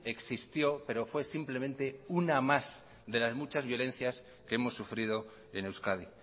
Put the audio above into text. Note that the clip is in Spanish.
existió pero fue simplemente una más de las muchas violencias que hemos sufrido en euskadi